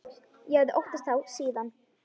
Ég hafði óttast þá síðan.